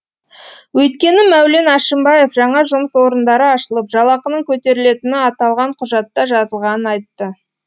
өйткені мәулен әшімбаев жаңа жұмыс орындары ашылып жалақының көтерілетіні аталған құжатта жазылғанын айтты